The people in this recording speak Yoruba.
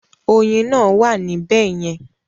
Ọyin náà wà ní bẹ̀yẹ̀ẹn?